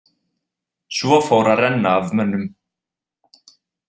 Svo fór að renna af mönnum.